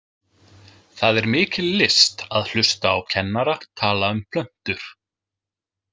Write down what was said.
Það er mikil list að hlusta á kennara tala um plöntur.